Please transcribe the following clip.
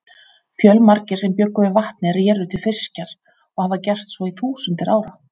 Fjölmargir sem bjuggu við vatnið réru til fiskjar og hafa gert svo í þúsundir ára.